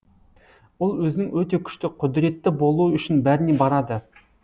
ол өзінің өте күшті құдіретті болуы үшін бәріне барады